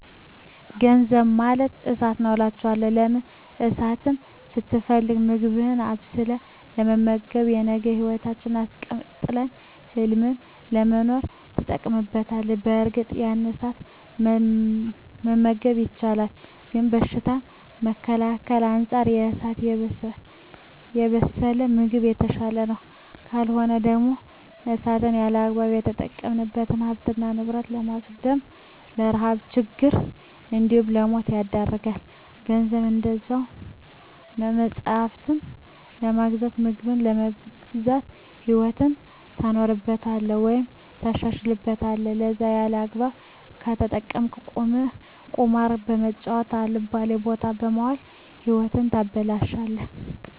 ገንዘብ ማለት እሳት ነዉ አላቸዋለሁ። ለምን እሳትን ስትፈልግ ምግብህን አብስለህ በመመገብ የነገ ህይወትህን አስቀጥለህ ህልምህን ለመኖር ትጠቀምበታለህ በእርግጥ ያለ እሳት መመገብ ይቻላል ግን በሽታን ከመከላከል አንፃር በእሳት የበሰለ ምግብ የተሻለ ነዉ። ካልሆነ ደግሞ እሳትን ያለአግባብ ከተጠቀምክ ሀብትን ንብረት በማዉደም ለረሀብ ለችግር እንዲሁም ለሞት ይዳርጋል። ገንዘብም እንደዛዉ ነዉ መፅሀፍትን በመግዛት ምግብን በመግዛት ህይወትህን ታኖርበታለህ ወይም ታሻሽልበታለህ ከለዛ ያለአግባብ ከተጠቀምከዉ ቁማር በመጫወት አልባሌ ቦታ በመዋል ህይወትህን ታበላሸለህ።